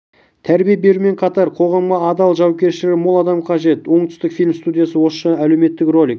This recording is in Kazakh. тәрбие берумен қатар қоғамға адал да жауапкершілігі мол адам қажет оңтүстікфильм студиясы осы жайлы әлеуметтік ролик